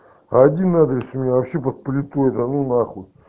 один адрес у меня вообще под плитой да ну нахуй